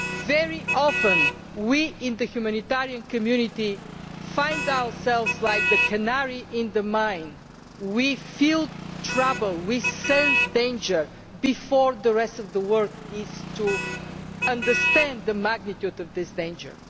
Very often we in the humanitarian community are like the canary in the mine. We feel trouble and we sense danger before the rest of the world understands the magnitude of this danger.